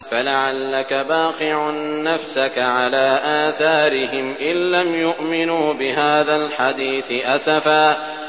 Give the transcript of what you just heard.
فَلَعَلَّكَ بَاخِعٌ نَّفْسَكَ عَلَىٰ آثَارِهِمْ إِن لَّمْ يُؤْمِنُوا بِهَٰذَا الْحَدِيثِ أَسَفًا